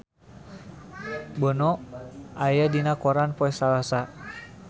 Bono aya dina koran poe Salasa